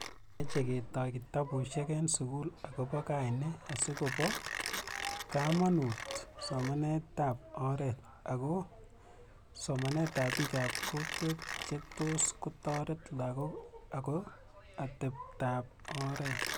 meche ketoy kitabushek eng sugul agoba kaine asigobo kamanuut somaneetab oret ago somanetab biikap kokwet chetos kotoret lagook ago ateptap oret